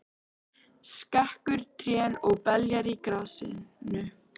Skekur trén og beljar á grasinu.